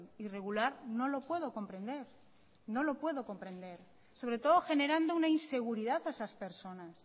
irregular no lo puedo comprender no lo puedo comprender sobre todo generando una inseguridad a esas personas